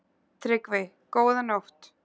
TRYGGVI: Góða nótt!